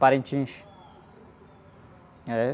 Parintins... É...